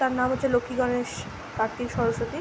তার নাম হচ্ছে লক্ষী গণেশ কার্তিক সরস্বতী- ই ।